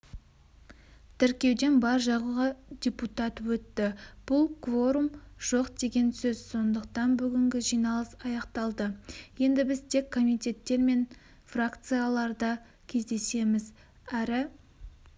тіркеуден бар-жоғы депутат өтті бұл кворум жоқ деген сөз сондықтан бүгінгі жиналыс аяқталды енді біз тек комитеттер мен фракцияларда кездесеміз әрі